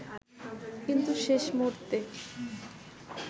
কিন্তু শেষ মূহুর্তে